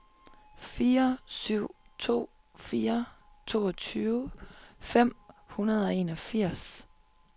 fire syv to fire toogtyve fem hundrede og enogfirs